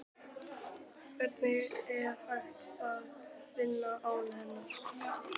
Hvernig er hægt að vinna án hennar?